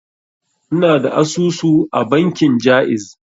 Ina da asusu a bankin ja'iz.